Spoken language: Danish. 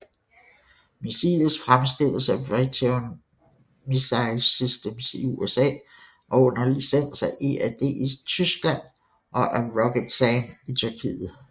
Missilet fremstilles af Raytheon Missile Systems i USA og under licens af EADS i Tyskland og af ROKETSAN i Tyrkiet